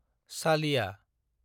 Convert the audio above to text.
चालिया